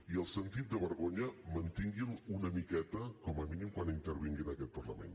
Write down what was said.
i el sentit de vergonya mantingui’l una miqueta com a mínim quan intervingui en aquest parlament